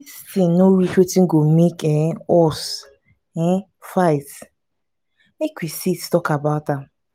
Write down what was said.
dis thing no reach wetin go make um us um fight make we sit talk about am.